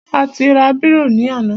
A ti ra bírò ní àná.